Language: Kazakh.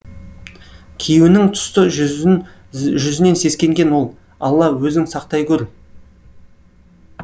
күйеуінің сұсты жүзінен сескенген ол алла өзің сақтай гөр